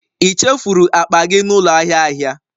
Ị chefuru akpa gị n'ụlọ ahịa ahịa?